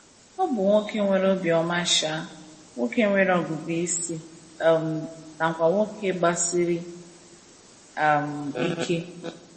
O bụ nwoke nwere obiọma um, nwoke nwere ọgụgụ isi um nakwa nwoke gbasiri um ike.